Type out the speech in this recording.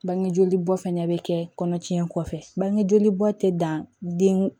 Bangejoli bɔ fana bɛ kɛ kɔnɔ tiɲɛ kɔfɛ bange joli bɔ tɛ dan den